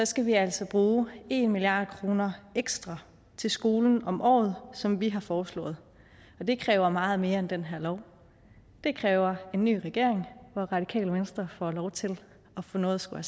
skal vi altså bruge en milliard kroner ekstra til skolen om året som vi har foreslået og det kræver meget mere end den her lov det kræver en ny regering hvor radikale venstre får lov til at få noget at skulle